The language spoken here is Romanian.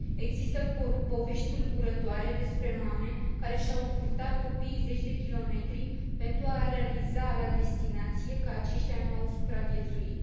Există povești tulburătoare despre mame care și au purtat copiii zeci de kilometri pentru a realiza la destinație că aceștia nu au supraviețuit.